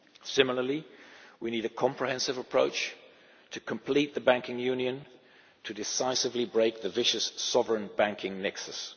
Similarly, we need a comprehensive approach to completing the Banking Union in order to decisively break the vicious sovereign banking nexus.